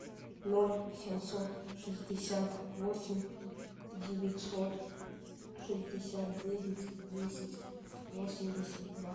ноль семьсот шестьдесят восемь девятьсот шестьдесят девять десять восемьдесят два